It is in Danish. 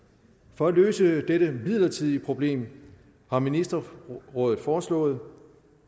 for at løse dette midlertidige problem har ministerrådet foreslået